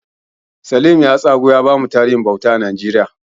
Salim ya tsagu ya bamu tarihin bauta a Najeriya.